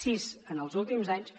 sis en els últims anys